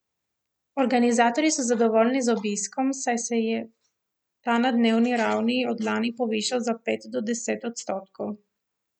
Organizatorji so zadovoljni z obiskom, saj se je ta na dnevni ravni od lani povišal za pet do deset odstotkov.